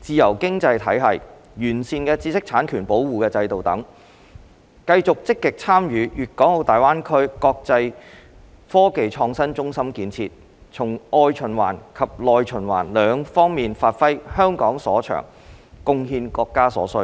自由經濟體系、完善的知識產權保護制度等，繼續積極參與粵港澳大灣區國際科技創新中心建設，從外循環及內循環兩方面發揮香港所長，貢獻國家所需。